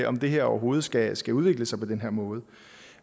om det her overhovedet skal skal udvikle sig på den måde